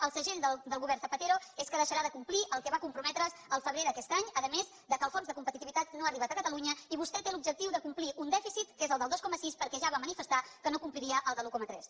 el segell del govern zapatero és que deixarà de complir el que va comprometre’s el febrer d’aquest any a més que el fons de competitivitat no ha arribat a catalunya i vostè té l’objectiu de complir un dèficit que és el del dos coma sis perquè ja va manifestar que no compliria el de l’un coma tres